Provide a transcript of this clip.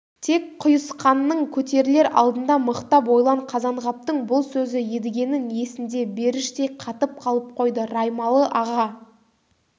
тек құйысқаның көтерілер алдында мықтап ойлан қазанғаптың бұл сөзі едігенің есінде беріштей қатып қалып қойды раймалы-аға